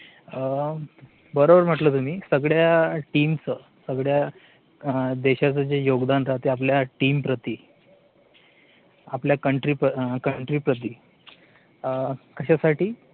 अं बरोबर म्हटलं तुम्ही, सगळ्या TEAM च, सगळ्या देशाचं जे योगदान राहतं आपल्या TEAM प्रती, आपल्या COUNTRY country प्रती, अं कशासाठी?